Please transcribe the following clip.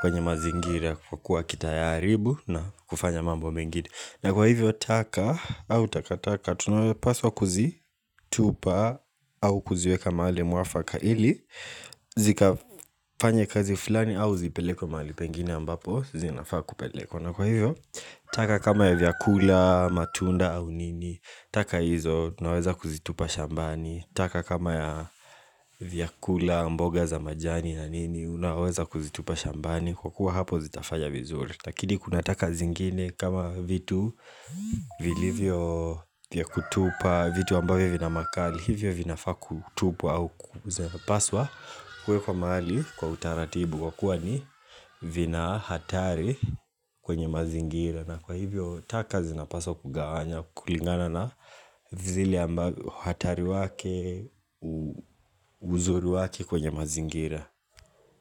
kwenye mazingira kwa kuwa kitayaribu na kufanya mambo mengine na kwa hivyo taka au taka taka tunapaswa kuzitupa au kuziweka maali mwafaka ili zika fanye kazi fulani au zipelekwe maali pengine ambapo zinafaa kupelekwa na kwa hivyo taka kama ya vyakula matunda au nini taka hizo naweza kuzitupa shambani taka kama ya vyakula mboga za majani na nini unaweza kuzitupa shambani kwa kuwa hapo zitafaya vizuri Lakini kunataka zingine kama vitu vilivyo kutupa vitu ambavyo vina makali Hivyo vinafa kutupwa au kuzipaswa kuwekwa mahali kwa utaratibu Kwa kuwa ni vina hatari kwenye mazingira na kwa hivyo taka zinapaswa kugawanya kulingana na vile ambavyo hatari wake uzuri wake kwenye mazingira.